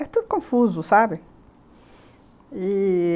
É tudo confuso, sabe? e...